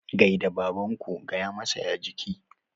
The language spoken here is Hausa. Gai da babanku. gaya masa "ya jiki"!